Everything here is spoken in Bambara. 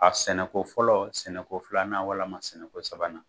A sɛnɛko fɔlɔ sɛnɛko filanan walama sɛnɛko sabanan